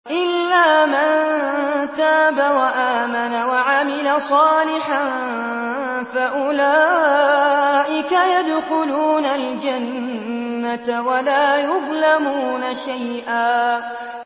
إِلَّا مَن تَابَ وَآمَنَ وَعَمِلَ صَالِحًا فَأُولَٰئِكَ يَدْخُلُونَ الْجَنَّةَ وَلَا يُظْلَمُونَ شَيْئًا